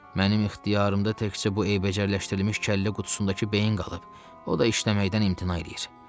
Mənim ixtiyarımda təkcə bu eybəcərləşdirilmiş kəllə qutusundakı beyin qalıb, o da işləməkdən imtina eləyir.